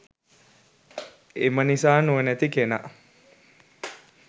එම නිසා නුවණැති කෙනා